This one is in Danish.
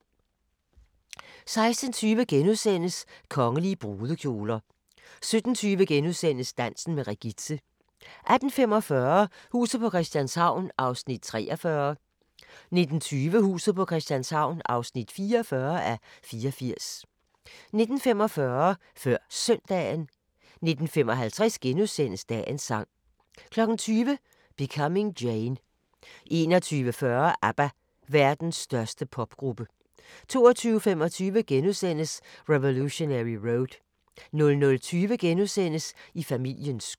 16:20: Kongelige brudekjoler * 17:20: Dansen med Regitze * 18:45: Huset på Christianshavn (43:84) 19:20: Huset på Christianshavn (44:84) 19:45: Før Søndagen 19:55: Dagens sang * 20:00: Becoming Jane 21:40: ABBA – Verdens største popgruppe 22:25: Revolutionary Road * 00:20: I familiens skød *